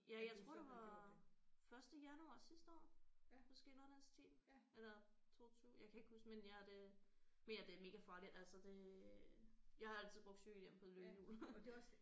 Ja jeg tror det var første januar sidste år måske noget i den stil eller 22 jeg kan ikke huske men ja det men ja det er mega farligt altså det jeg har altid brugt cykelhjelm på løbehjul